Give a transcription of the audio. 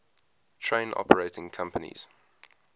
train operating companies